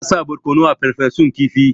Ana sa barkono a Farfesun kifi.